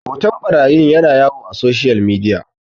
hoton ɓarayi yana yawo a soshiyal midiya